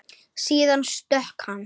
Síðan stökk hann.